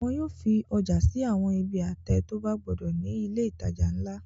Wọn yóò fi ọjà sí àwọn ibi àtẹ tó bá gbódò ní ilé-ìtajà ńlá.